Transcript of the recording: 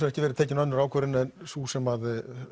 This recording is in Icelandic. ekki verið tekið önnur ákvörðun en sú sem